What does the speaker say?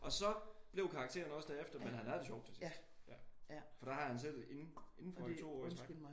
Og så blev karaktererne også derefter men han havde det sjovt til sidst. For der han havde siddet indenfor i 2 år i træk